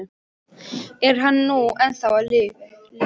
Er hann nú ennþá á lífi?